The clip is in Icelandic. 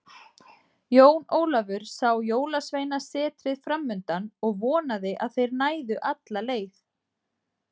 Jón Ólafur sá Jólasveinasetrið framundan og vonaði að þeir næðu alla leið.